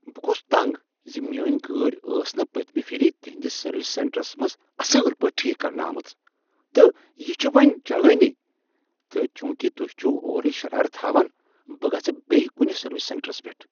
بہٕ گوس تنٛگ زِ میٲنۍ گٲڑۍ ٲس نہٕ پٔتۍمہ پھِر تہنٛدس سروس سینٹرس منٛز اصل پٲٹھۍ ٹھیٖکھ کرنہٕ آمٕژ تہٕ یہ چھ وۄنۍ چلانٕے تہٕ چونٛکہ تہۍ چھو اورے شرارتھ ہاوان، بہٕ گژھٕ بیٚیہ کنہ سروس سینٹرس پیٚٹھ۔